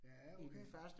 Ja okay